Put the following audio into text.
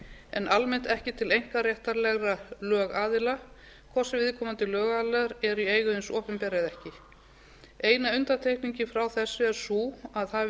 en almennt ekki til einkaréttarlegra lögaðila hvort sem viðkomandi lögaðilar eru í eigu hins opinbera eða ekki eina undantekningin frá þessu er sú að hafi